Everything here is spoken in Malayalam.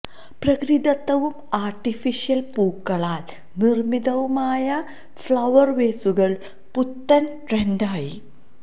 പ്രകൃതിദത്തവും ആര്ട്ടിഫിഷ്യല് പൂക്കളാല് നിര്മ്മിതവുമായ ഫഌര് വേസുകള് പുത്തന് ട്രെന്ഡായി